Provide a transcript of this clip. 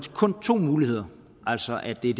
to muligheder altså at det er